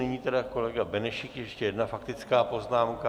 Nyní tedy kolega Benešík, ještě jedna faktická poznámka.